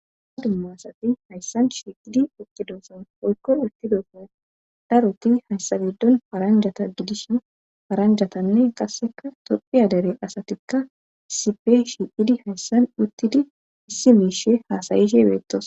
Aa dumma asati hayssan shi idi oqqidosan oykko uttidofon daroti hayssabiddon faranjata gidishu faranjatanne qasseka tophiyadere asatikka sipe shi idi hayssan uttidi issi miishe haasayihe beettos.